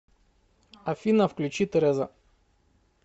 афина включи тереза